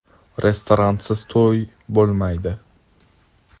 Restoransiz to‘y bo‘lmaydi.